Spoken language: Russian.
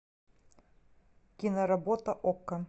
киноработа окко